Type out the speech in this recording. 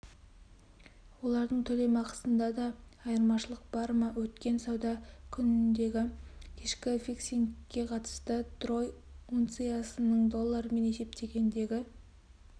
олардың төлемақысында да айырмашылық бар ма өткен сауда күніндегі кешкі фиксингке қатысты трой унциясының доллармен есептегендегі